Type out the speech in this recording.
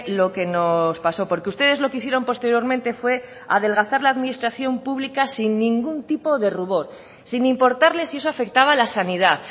lo que nos pasó porque ustedes lo que hicieron posteriormente fue adelgazar la administración pública sin ningún tipo de rubor sin importarles si eso afectaba a la sanidad